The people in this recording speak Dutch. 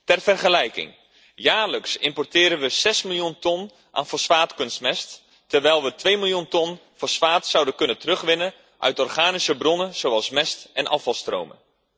Ter vergelijking jaarlijks importeren we 6 miljoen ton aan fosfaatkunstmest, terwijl we 2 miljoen ton fosfaat zouden kunnen terugwinnen uit organische bronnen, zoals mest en afvalstromen.